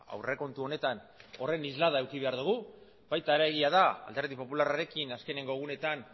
aurrekontu honetan horren isla eduki behar dugu baita egia da alderdi popularrarekin azkeneko egunetan